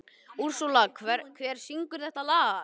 Úrsúla, hver syngur þetta lag?